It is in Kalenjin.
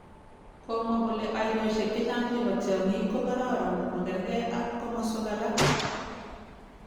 Komwa kole ainosiek chechang chebo tiang'ik ko karoron makerge ak komaswek alak